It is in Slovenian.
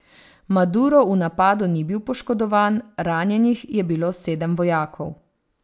Maduro v napadu ni bil poškodovan, ranjenih je bilo sedem vojakov.